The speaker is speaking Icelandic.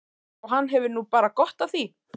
Og hann hefur nú bara gott af því.